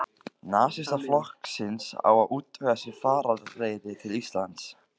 Nasistaflokksins, á að útvega sér farareyri til Íslands.